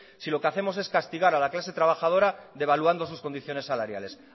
si lo que hacemos es castigar a la clase trabajadora devaluando sus condiciones salariales